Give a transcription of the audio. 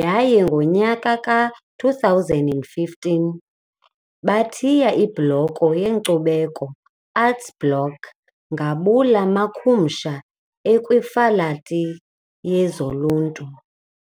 yaye ngonyaka wama-2015 bathiye ibloko yenkcubeko, Arts Block ngabula makhumsha ekwiFakhalithi yezoLuntu